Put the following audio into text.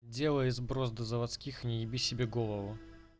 сделай сброс до заводских не еби себе голову